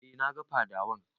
E, na ga fadawan.